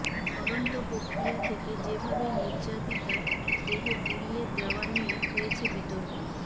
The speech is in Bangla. তদন্ত প্রক্রিয়া থেকে যেভাবে নির্যাতিতার দেহ পুড়িয়ে দেওয়া নিয়ে হয়েছে বিতর্ক